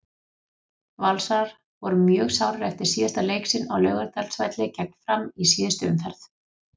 Valsarar voru mjög sárir eftir síðasta leik sinn á Laugardalsvelli gegn Fram í síðustu umferð.